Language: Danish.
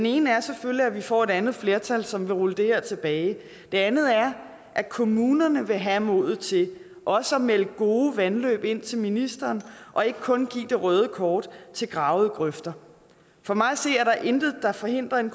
ene er selvfølgelig at vi får et andet flertal som vil rulle det her tilbage det andet er at kommunerne vil have modet til også at melde gode vandløb ind til ministeren og ikke kun give det røde kort til gravede grøfter for mig at se er der intet der forhindrer en